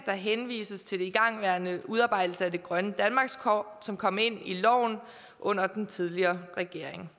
der henvises til den igangværende udarbejdelse af det grønne danmarkskort som kom ind i loven under den tidligere regering